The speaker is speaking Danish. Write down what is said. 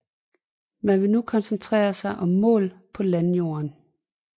Man vil nu koncentrere sig om mål på landjorden